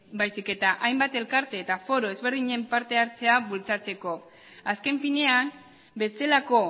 baizik eta hainbat elkarte eta foro ezberdinen partehartzea bultzatzeko azken finean bestelako